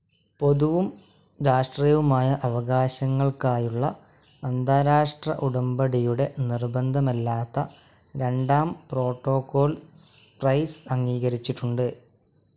പൊതുവും രാഷ്ട്രീയവുമായ അവകാശങ്ങൾക്കായുള്ള അന്താരാഷ്ട്ര ഉടമ്പടിയുടെ നിർബന്ധമല്ലാത്ത രണ്ടാം പ്രോട്ടോക്കോൾ സൈപ്രസ് അംഗീകരിച്ചിട്ടുണ്ട്.